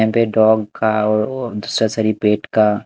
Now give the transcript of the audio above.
यहां पे डॉग का वो सर्जरी पेट का--